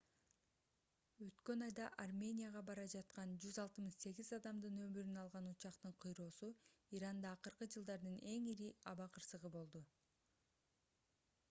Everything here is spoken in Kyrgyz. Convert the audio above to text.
өткөн айда арменияга бара жаткан 168 адамдын өмүрүн алган учактын кыйроосу иранда акыркы жылдардын эң ири аба кырсыгы болду